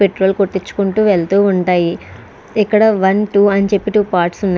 Petrol కొట్టించుకుంటూ వెళ్తూ ఉంటాయి. ఇక్కడ ఒన్ టూ అని చెప్పి టూ పార్ట్స్ ఉన్నాయి.